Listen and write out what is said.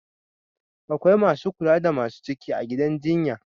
Akwai Masu kula da Masu ciki a gidan jjinya